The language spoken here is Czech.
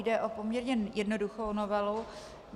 Jde o poměrně jednoduchou novelu.